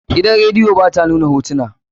Gidan radiyo ba ta nuna hotuna.